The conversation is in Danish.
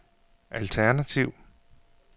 alternativ